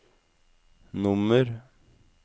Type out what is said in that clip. nummer